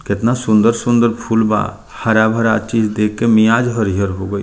केतना सुंदर-सुंदर फूल बा हरा-भरा चीज देख के मियाज हरियर हो गई।